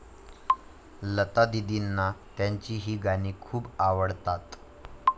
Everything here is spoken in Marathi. लतादीदींना त्यांची ही गाणी खूप आवडतात